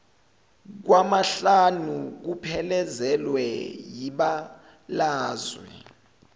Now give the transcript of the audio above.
kwamahlanu kuphelezelwe yibalazwe